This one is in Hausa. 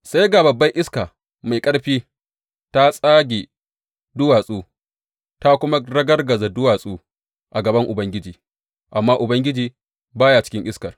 Sai ga babbar iska mai ƙarfi ta tsage duwatsu, ta kuma ragargaza duwatsu a gaban Ubangiji, amma Ubangiji ba ya cikin iskar.